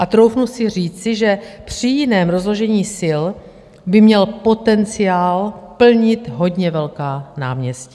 A troufnu si říci, že při jiném rozložení sil by měl potenciál plnit hodně velká náměstí.